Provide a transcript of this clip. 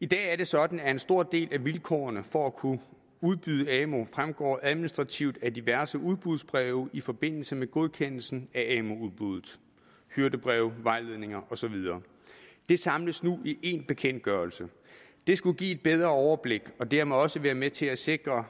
i dag er det sådan at en stor del af vilkårene for at kunne udbyde amu fremgår administrativt af diverse udbudsbreve i forbindelse med godkendelsen af amu udbuddet hyrdebreve vejledninger og så videre det samles nu i en bekendtgørelse det skulle give et bedre overblik og dermed også være med til at sikre